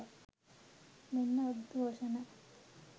මෙන්න උද්ඝෝෂණ!